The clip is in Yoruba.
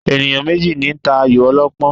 Ènìyàn méjì ní ta ayò ọlọ́pọ́n